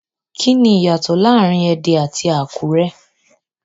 Kini iyato laarin Ede ati Akure?